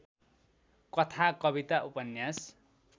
कथा कविता उपन्यास